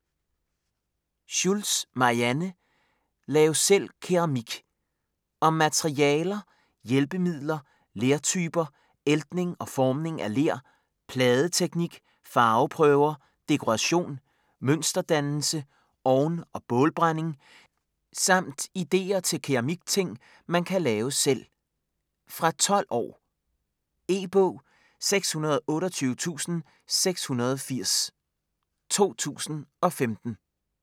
Schultz, Marianne: Lav selv keramik Om materialer, hjælpemidler, lertyper, æltning og formning af ler, pladeteknik, farveprøver, dekoration, mønsterdannelse, ovn- og bålbrænding samt ideer til keramikting, man kan lave selv. Fra 12 år. E-bog 628680 2015.